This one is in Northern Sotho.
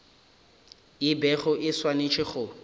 e bego e swanetše go